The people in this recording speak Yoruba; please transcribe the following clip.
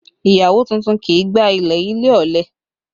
Ìyàwó tuntun kì í gbá ilẹ̀ ilé, ọ̀lẹ